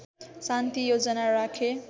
शान्ति योजना राखे